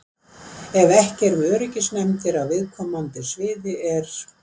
Ef ekki eru öryggisnefndir á viðkomandi sviði er